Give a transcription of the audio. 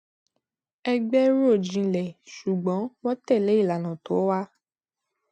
ẹgbẹ rò jinlẹ ṣùgbọn wọn tẹlé ìlànà tó wà